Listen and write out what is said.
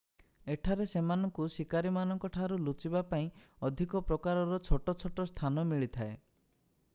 ଏଠାରେ ସେମାନଙ୍କୁ ଶିକାରୀମାନଙ୍କଠାରୁ ଲୁଚିବା ପାଇଁ ଅଧିକ ପ୍ରକାରର ଛୋଟ ଛୋଟ ସ୍ଥାନ ମିଳିଥାଏ